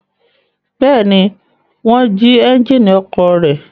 Bẹ́ẹ̀ ni, wọ́n jí ẹ́ńjínì ọkọ̀ rẹ̀.